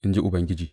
in ji Ubangiji.